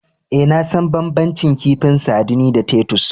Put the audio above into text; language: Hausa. Eh, na san banbancin kifin sardine da Titus.